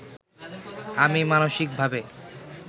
আমি মানসিকভাবে